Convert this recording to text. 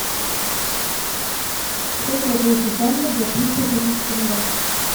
сколько я получу франков за триста тысяч тенге